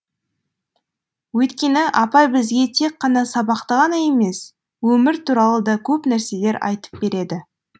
өйткені апай бізге тек қана сабақты ғана емес өмір туралы да көп нәрселер айтып береді